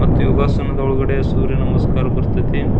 ಮತ್ ಯೋಗಾಸನದೊಳಗಡೆ ಸೂರ್ಯ ನಮಸ್ಕಾರ ಬರತೈತಿ.